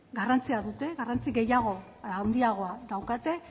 garrantzia dute garrantzia gehiago handiago daukate